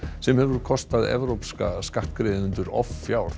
sem hefur kostað evrópska skattgreiðendur offjár